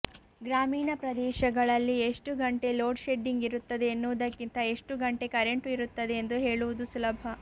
ಗ್ರಾಮೀಣ ಪ್ರದೇಶಗಳಲ್ಲಿ ಎಷ್ಟು ಗಂಟೆ ಲೋಡ್ ಶೆಡ್ಡಿಂಗ್ ಇರುತ್ತದೆ ಎನ್ನುವುದಕ್ಕಿಂತ ಎಷ್ಟು ಗಂಟೆ ಕರೆಂಟು ಇರುತ್ತದೆ ಎಂದು ಹೇಳುವುದು ಸುಲಭ